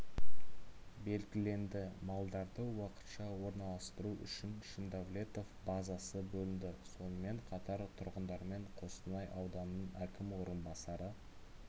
белгіленді малдарды уақытша орналастыру үшін шиндавлетов базасы бөлінді сонымен қатар тұрғындармен қостанай ауданының әкім орынбасары